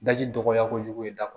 Daji dɔgɔya kojugu i da